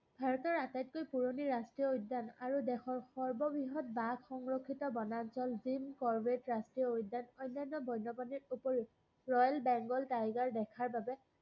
ভাৰতৰ আটাইতকৈ পূৰণি ৰাষ্ট্ৰীয় উদ্যান আৰু দেশৰ সৰ্ব-বৃহৎ বাঘ সংৰক্ষিত বনাঞ্চল jim korbet ৰাষ্ট্ৰীয় উদ্যান অন্যান্য উপৰিও royal begal tiger দেখাৰ বাবে